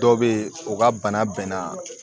Dɔw bɛ yen u ka bana bɛnna